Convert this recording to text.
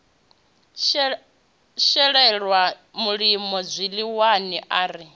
shelelwa mulimo zwiḽiwani a ri